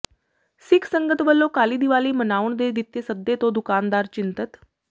ਸਿੱਖ ਸੰਗਤ ਵੱਲੋਂ ਕਾਲੀ ਦੀਵਾਲੀ ਮਨਾਉਣ ਦੇ ਦਿੱਤੇ ਸੱਦੇ ਤੋਂ ਦੁਕਾਨਦਾਰ ਚਿੰਤਤ